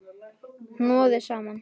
Hnoðið saman.